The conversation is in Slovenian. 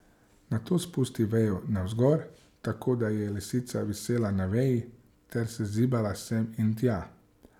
Nato spusti vejo navzgor, tako da je lisica visela na veji ter se zibala sem in tja.